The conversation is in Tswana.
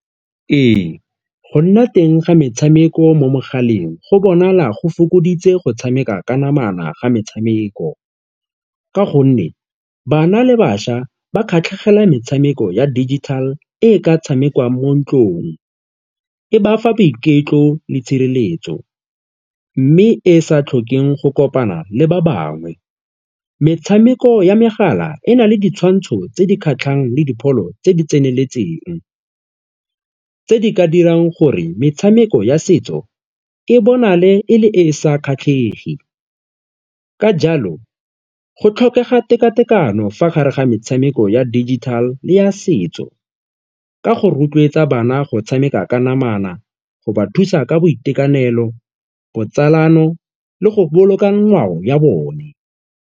Ee, go nna teng ga metshameko mo mogaleng go bonala go fokoditse go tshameka ka namana ga metshameko ka gonne bana le bašwa ba kgatlhegela metshameko ya digital e e ka tshamekiwang mo ntlong, e ba fa boiketlo le tshireletso mme e e sa tlhokeng go kopana le ba bangwe. Metshameko ya megala e na le ditshwantsho tse di kgatlhang le dipholo tse di tseneletseng tse di ka dirang gore metshameko ya setso e bonale e le e e sa kgatlhege ka jalo go tlhokega tekatekano fa gare ga metshameko ya digital le ya setso, ka go rotloetsa bana go tshameka ka namana, go ba thusa ka boitekanelo, botsalano le go boloka ngwao ya bone.